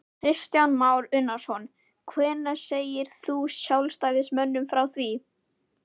Kristján Már Unnarsson: Hvenær segir þú sjálfstæðismönnum frá því?